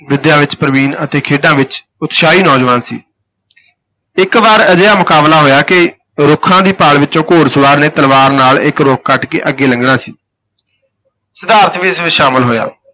ਵਿਦਿਆ ਵਿਚ ਪ੍ਰਬੀਨ ਅਤੇ ਖੇਡਾਂ ਵਿੱਚ ਉਤਸ਼ਾਹੀ ਨੌਜਵਾਨ ਸੀ ਇਕ ਵਾਰ ਅਜਿਹਾ ਮੁਕਾਬਲਾ ਹੋਇਆ ਕਿ ਰੁੱਖਾਂ ਦੀ ਪਾਲ ਵਿਚੋਂ ਘੋੜ ਸਵਾਰ ਨੇ ਤਲਵਾਰ ਨਾਲ ਇਕ ਰੁੱਖ ਕੱਟ ਕੇ ਅੱਗੇ ਲੰਘਣਾ ਸੀ ਸਿਧਾਰਥ ਵੀ ਇਸ ਵਿਚ ਸ਼ਾਮਲ ਹੋਇਆ।